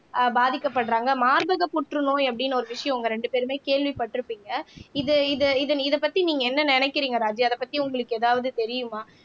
ஆஹ் பாதிக்கப்படுறாங்க மார்பக புற்றுநோய் அப்படின்னு ஒரு விஷயம் உங்க ரெண்டு பேருமே கேள்விப்பட்டிருப்பீங்க இது இது இது இதைப் பத்தி நீங்க என்ன நினைக்கிறீங்க ராஜீ அதைப் பத்தி உங்களுக்கு ஏதாவது தெரியுமா